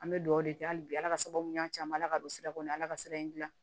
An bɛ dugawu de kɛ hali bi ala ka sababu mun y'an ta an bɛ ala ka don sira kɔni ye ala ka sira in dilan